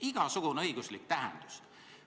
Igasugune õiguslik tähendus!